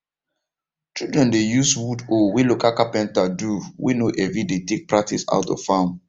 children dey use wood hoe way local carpenter do way no heavy dey take practice how to farm